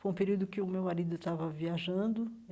Foi um período em que o meu marido estava viajando.